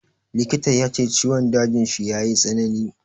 Likita ya ce ciwon dajin shi ya yi tsanani.